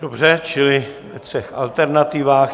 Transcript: Dobře, čili ve třech alternativách.